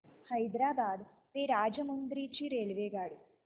हैदराबाद ते राजमुंद्री ची रेल्वेगाडी